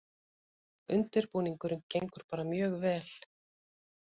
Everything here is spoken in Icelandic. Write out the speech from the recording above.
Undirbúningurinn gengur bara mjög vel